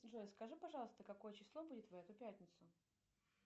джой скажи пожалуйста какое число будет в эту пятницу